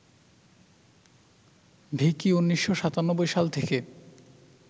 ভিকি ১৯৯৭ সাল থেকে